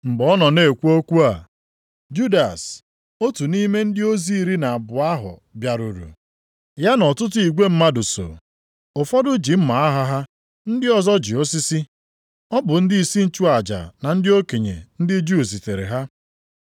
Mgbe ọ nọ na-ekwu okwu a, Judas, otu nʼime ndị ozi iri na abụọ ahụ bịaruru, ya na ọtụtụ igwe mmadụ so. Ụfọdụ ji mma agha ha, ndị ọzọ ji osisi. + 26:47 Maọbụ, mkpọ Ọ bụ ndịisi nchụaja na ndị okenye ndị Juu zitere ha.